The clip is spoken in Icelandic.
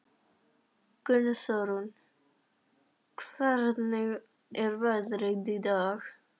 Gunnþórunn, hvernig er veðrið í dag?